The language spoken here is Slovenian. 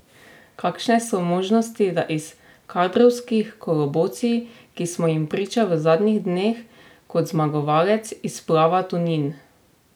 Kakšne so možnosti, da iz kadrovskih kolobocij, ki smo jih priča v zadnjih dneh, kot zmagovalec izplava Tonin?